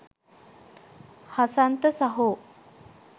හසන්ත සහෝ